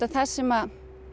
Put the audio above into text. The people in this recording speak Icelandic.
það sem